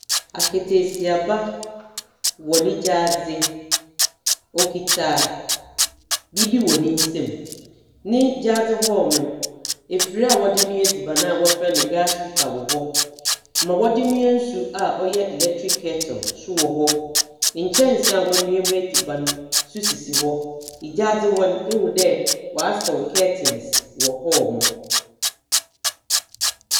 Akataasiaba wɔ ne gyaadze. Okitsa biribi wɔ ne nsamu. Ne gyaadze hɔ no, efir a wɔdze noa edziban a wɔfrɛ no gas cooker wɔ hɔ. Dza wɔdze noa nsu a ɔyɛ electric kettle so wɔ hɔ. Nkyɛnse a wɔnoa mu edziban so sisi hɔ. Gyaadze hɔ no, ihu dɛ wɔasaw curtains wɔ hɔ.